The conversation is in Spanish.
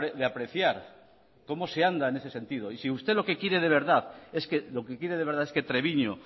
de apreciar cómo se anda en ese sentido y si usted lo que quiere de verdad es que treviño